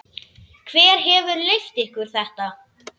Hver hefur leyft ykkur þetta?